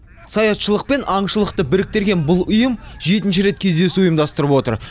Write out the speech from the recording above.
саятшылық пен аңшылықты біріктірген бұл ұйым жетінші рет кездесу ұйымдастырып отыр